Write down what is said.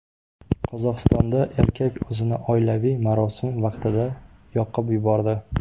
Qozog‘istonda erkak o‘zini oilaviy marosim vaqtida yoqib yubordi.